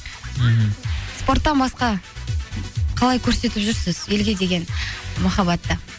мхм спорттан басқа қалай көрсетіп жүрсіз елге деген махаббатты